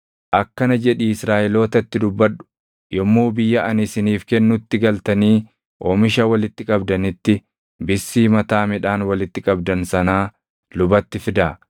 “Akkana jedhii Israaʼelootatti dubbadhu; ‘Yommuu biyya ani isiniif kennutti galtanii oomisha walitti qabdanitti bissii mataa midhaan walitti qabdan sanaa lubatti fidaa.